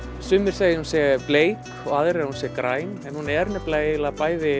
sumir segja að hún sé bleik og aðrir að hún sé græn en hún er nefnilega eiginlega